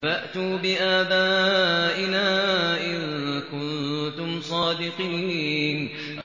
فَأْتُوا بِآبَائِنَا إِن كُنتُمْ صَادِقِينَ